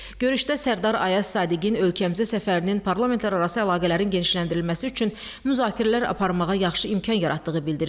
Görüşdə Sərdar Ayaz Sadiqin ölkəmizə səfərinin parlamentlərarası əlaqələrin genişləndirilməsi üçün müzakirələr aparmağa yaxşı imkan yaratdığı bildirildi.